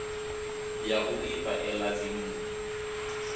ya u ifha ela dzinnḓu